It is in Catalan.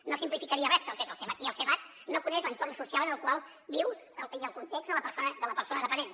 no simplificaria res que el fes el sevad i el se·vad no coneix l’entorn social en el qual viu i el context de la persona dependent